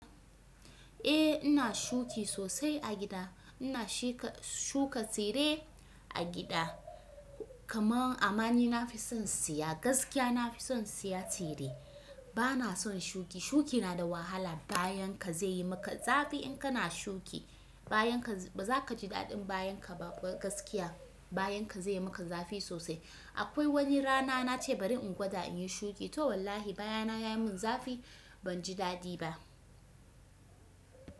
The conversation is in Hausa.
Eh ina shuki sosai a gida, ina shuka tsire a gida kamar amani na fi son siya gaskiya na fi son siya tsire. Bana son shuki shuki na da wahala bayan ka zai yi maka zafi in kana shuki bayan ka ba za ka ji daɗin bayan ka ba gaskiya bayan ka zai yi maka zafi sosai. Akwai wani rana na ce bari in gwada in yi shuki to wallahi baya na ya mun zafi ban ji daɗi ba.